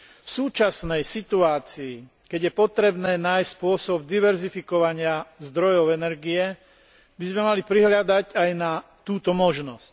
V súčasnej situácii, keď je potrebné nájsť spôsob diverzifikovania zdrojov energie, by sme mali prihliadať aj na túto možnosť.